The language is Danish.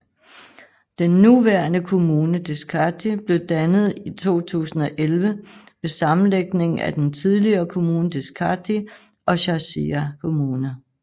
Den nuværende kommune Deskati blev dannet i 2011 ved sammenlægningen af den tidligere kommune Deskati og Chasia kommune